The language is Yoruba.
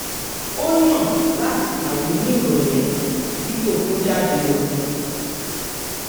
ó yàn láti kàwé ní ìrọ̀lẹ́ dípò kó jáde lọ